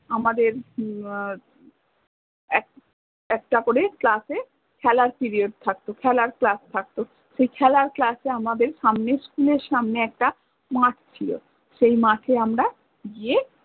তারপর অমাদের হম উম এক একটা করে class এ খেলার period থাকত খেলার class থাকত সেই খেলার class এ আমাদের সামনে school এর সামনে একটা মাঠ ছিল, সেই মাঠে আমরা গিয়ে